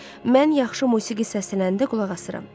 Mən yaxşı musiqi səslənəndə qulaq asıram.